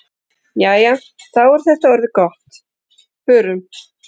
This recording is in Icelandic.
Jæja, þá er þetta orðið gott. Förum.